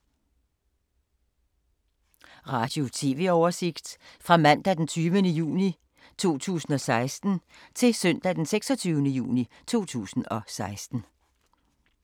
Radio/TV oversigt fra mandag d. 20. juni 2016 til søndag d. 26. juni 2016